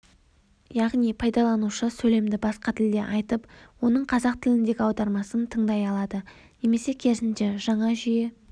яғни пайдаланушы сөйлемді басқа тілде айтып оның қазақ тіліндегі аудармасын тыңдай алады немесе керісінше жаңа жүйе